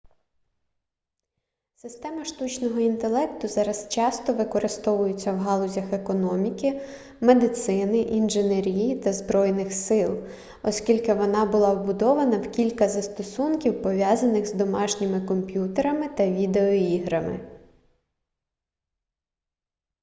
система штучного інтелекту зараз часто використовується в галузях економіки медицини інженерії та збройних сил оскільки вона була вбудована в кілька застосунків пов'язаних з домашніми комп'ютерами та відеоіграми